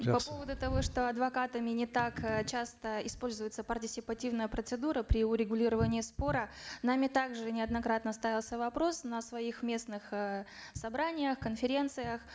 жақсы по поводу того что адвокатами не так э часто используется партисипативная процедура при урегулировании спора нами также неоднократно ставился вопрос на своих местных э собраниях конференциях